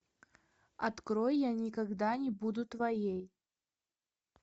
открой я никогда не буду твоей